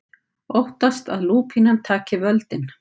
Óttast að lúpínan taki völdin